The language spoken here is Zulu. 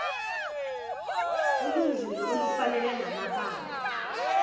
olunzulu olufanele namabamba